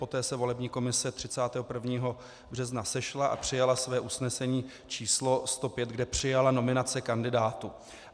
Poté se volební komise 31. března sešla a přijala své usnesení č. 105, kde přijala nominace kandidátů.